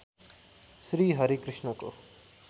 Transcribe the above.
श्री हरि कृष्णको